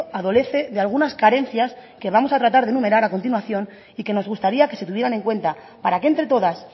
adolece de algunas carencias que vamos a tratar de enumerar a continuación y que nos gustaría que se tuvieran en cuenta para que entre todas